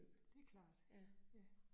Det klart, ja